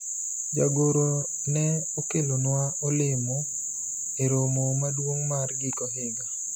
jagoro ne okelonwa olemo e romo maduong' mar giko higa